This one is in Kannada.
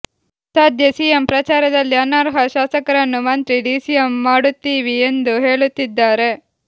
ಸದ್ಯ ಸಿಎಂ ಪ್ರಚಾರದಲ್ಲಿ ಅನರ್ಹ ಶಾಸಕರನ್ನು ಮಂತ್ರಿ ಡಿಸಿಎಂ ಮಾಡುತ್ತೀವಿ ಎಂದು ಹೇಳುತ್ತಿದ್ದಾರೆ